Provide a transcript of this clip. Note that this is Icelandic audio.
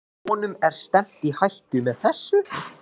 Og honum er stefnt í hættu með þessu?